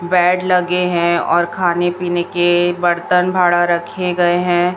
Bed लगे हैं और खाने पीने के बर्तन भाड़ा रखें गए हैं।